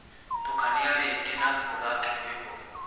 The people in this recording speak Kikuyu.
tũkanĩa rĩngĩ na ũthake rwĩmbo